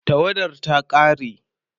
tawadar ta ƙare